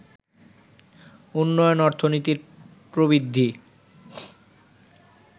উন্নয়ন অর্থনীতির প্রবৃদ্ধি